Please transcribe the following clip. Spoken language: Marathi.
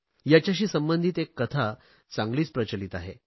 याच्याशी संबंधित एक कथा चांगलीच प्रचलित आहे